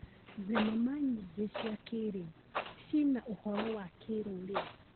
Thenema nyingĩ cia kĩrĩu cina ũhoro wa kĩrũrĩrĩ.